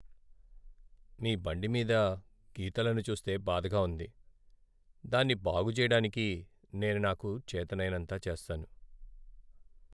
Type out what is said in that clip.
మీ బండి మీద గీతలను చూస్తే బాధగా ఉంది, దాన్ని బాగు చెయ్యడానికి నేను నాకు చేతనైనంత చేస్తాను.